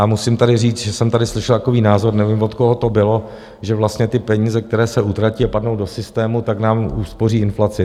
A musím tady říct, že jsem tady slyšel takový názor, nevím, od koho to bylo, že vlastně ty peníze, které se utratí a padnou do systému, tak nám uspoří inflaci.